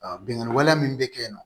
Bingani wale min bɛ kɛ yen nɔ